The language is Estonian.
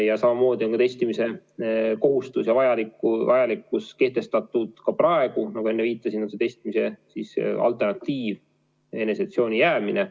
Ja samamoodi on testimise kohustus kehtestatud praegu ja nagu enne viitasin, testimise alternatiiv on eneseisolatsiooni jäämine.